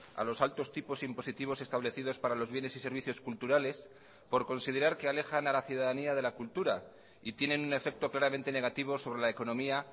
a los altos tipos impositivos establecidos para los bienes y servicios culturales por considerar que alejan a la ciudadanía de la cultura y tienen un efecto claramente negativo sobre la economía